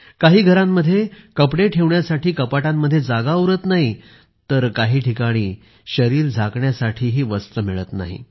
काही घरांमध्ये कपडे ठेवण्यासाठी कपाटांमध्ये जागा उरत नाही तर काही ठिकाणी शरीर झाकण्यासाठीही वस्त्र मिळत नाही